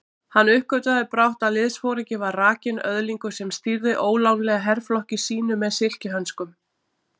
Hann uppgötvaði brátt að liðsforinginn var rakinn öðlingur sem stýrði ólánlega herflokki sínum með silkihönskum.